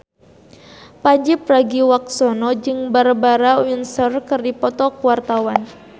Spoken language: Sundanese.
Pandji Pragiwaksono jeung Barbara Windsor keur dipoto ku wartawan